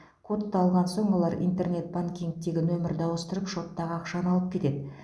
кодты алған соң олар интернет банкингтегі нөмірді ауыстырып шоттағы ақшаны алып кетеді